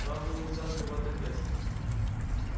правду нельзя открывать так резко